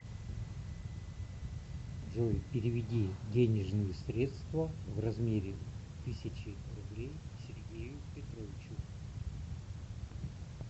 джой переведи денежные средства в размере тысячи рублей сергею петровичу